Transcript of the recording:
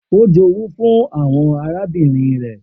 O jowu fun awọn arabinrin rẹ.